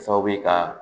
Sababu ye ka